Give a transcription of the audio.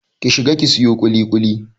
Ki shiga ki sayo ƙuliƙuli!